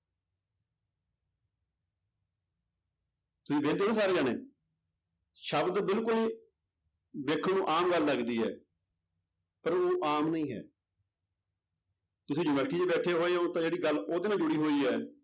ਤੁਸੀਂ ਵੇਖਦੇ ਹੋ ਨਾ ਸਾਰੇ ਜਾਣੇ ਸ਼ਬਦ ਬਿਲਕੁਲ ਵੇਖਣ ਨੂੰ ਆਮ ਗੱਲ ਲੱਗਦੀ ਹੈ ਪਰ ਉਹ ਆਮ ਨਹੀਂ ਹੈ ਤੁਸੀਂ university ਚ ਬੈਠੇ ਹੋਏ ਹੋ ਤਾਂ ਜਿਹੜੀ ਗੱਲ ਉਹਦੇ ਨਾਲ ਜੁੜੀ ਹੋਈ ਹੈ